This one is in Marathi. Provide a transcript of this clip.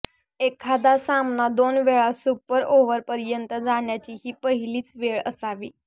एखादा सामना दोन वेळा सुपर ओव्हरपर्यंत जाण्याची ही पहिलीच वेळ असावी